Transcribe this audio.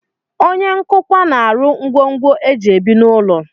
Onye nkụkwa na-arụ ngwongwo e ji ebi n'ụlọ